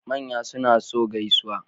Manya suna so gaisuwa